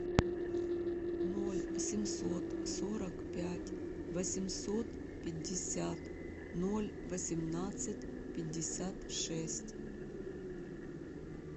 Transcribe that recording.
ноль семьсот сорок пять восемьсот пятьдесят ноль восемнадцать пятьдесят шесть